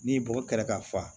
N'i bɔgɔ kɛrɛ ka fa